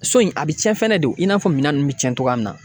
So in , a bɛ tiɲɛ fɛnɛ de , i n'a fɔ minɛn ninnu bɛ tiɲɛ cogoya min na.